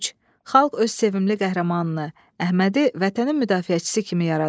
Xalq öz sevimli qəhrəmanını, Əhmədi vətənin müdafiəçisi kimi yaradıb.